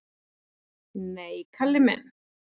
"""Nei, Kalli minn."""